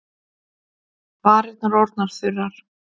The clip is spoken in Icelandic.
Varirnar orðnar þurrar.